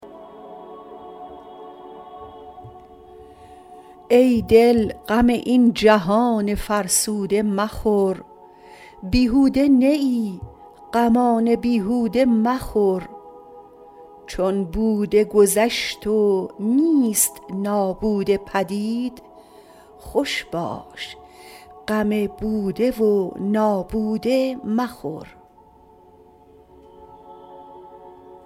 ای دل غم این جهان فرسوده مخور بیهوده نه ای غمان بیهوده مخور چون بوده گذشت و نیست نابوده پدید خوش باش غم بوده و نابوده مخور